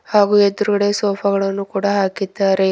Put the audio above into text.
ಹಾಗು ಎದ್ರುಗಡೆ ಸೋಫಾ ಗಳನ್ನು ಕೂಡ ಹಾಕಿದ್ದಾರೆ.